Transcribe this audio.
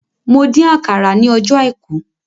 Mo dín àkàrà ní ọjọ́ àìkú